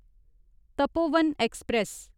Tapovan express